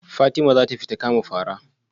Fatima zata fita kama fara?